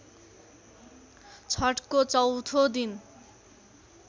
छठको चौथो दिन